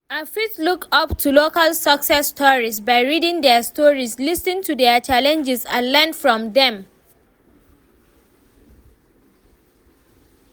i fit look up to local success stories by reading their stories, lis ten to their challenges and learn from dem.